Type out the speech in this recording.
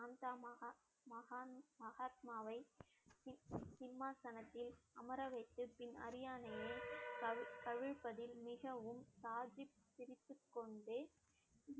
சாந்தமகா மகா~ மகாத்மாவை சிம்~ சிம்மாசனத்தில் அமர வைத்து பின் அரியணையை தவி~ தவிர்ப்பதில் மிகவும் சாதிப்~ சிரித்துக்கொண்டே